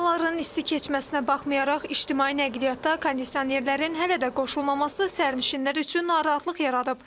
Havaların isti keçməsinə baxmayaraq ictimai nəqliyyatda kondisionerlərin hələ də qoşulmaması sərnişinlər üçün narahatlıq yaradıb.